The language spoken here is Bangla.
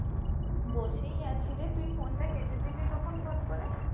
বসেই আছি রে তুই Phone টা কেটে দিলি তখন ফট করে